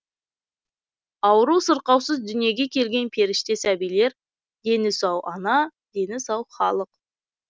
ауру сырқаусыз дүниеге келген періште сәбилер дені сау ана дені сау халық